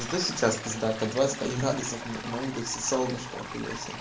зато сейчас пиздата двадцать один градусов на улице солнышко не хуя себе